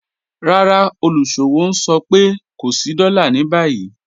Rárá, olúṣọ̀wọ̀ n sọ̀ pẹ̀ kò sí dóla ni báyi